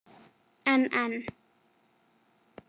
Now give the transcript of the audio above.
En. en.